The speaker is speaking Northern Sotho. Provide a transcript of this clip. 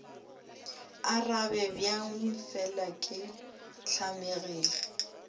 arabe bjang fela ke tlamegile